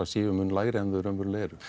séu mun lægri en þau raunverulega eru